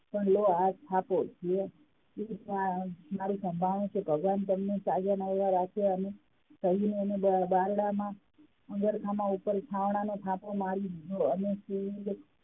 પણ લો આ થાપો જે મારૂ સંભાર્ણું છે ભગવાન તમને તાજા માજા રાખે અને બારણાં માં ઉપર થાવણાનો થાપો મારી દીધો અને